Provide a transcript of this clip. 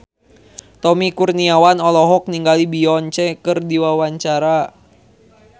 Tommy Kurniawan olohok ningali Beyonce keur diwawancara